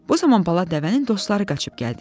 Bu zaman bala dəvənin dostları qaçıb gəldilər.